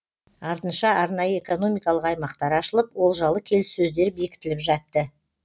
артынша арнайы экономикалық аймақтар ашылып олжалы келіссөздер бекітіліп жатты